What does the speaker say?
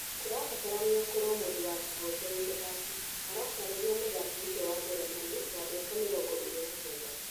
" Kũrabatarania ũkorũo mũndũ wa kĩhooto wĩ mũthaki," aratarĩria mũthaki ũcio wa Njeremani wa mĩaka mĩrongo ĩrĩ na kenda.